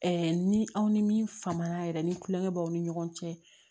ni aw ni min fama na yɛrɛ ni kulonkɛ b'aw ni ɲɔgɔn cɛ